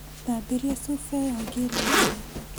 Thambĩria cuba ĩyo ngĩre iria